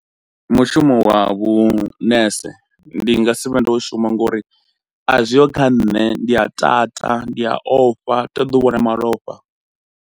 Mushumo wa vhunese ndi nga si vhe ndo shuma ngori azwiho kha nṋe ndi a tata, ndi ya ofha, ṱoḓi u vhona malofha.